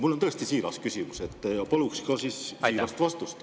Mul on tõesti siiras küsimus ja paluksin ka siirast vastust.